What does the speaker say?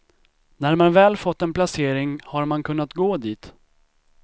När man väl fått en placering har man kunnat gå dit.